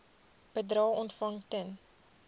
bedrae ontvang ten